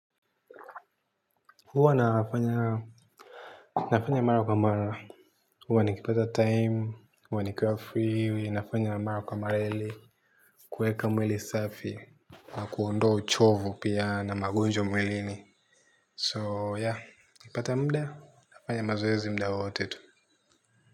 Huwa nafanya mara kwa mara. Huwa nikipata time, huwa nikiwa free, nafanya mara kwa mara ili kuweka mwili safi kwa kuondoa uchovu pia na magonjwa mwilini. So, nikipata muda, nafanya mazoezi madogo madogo.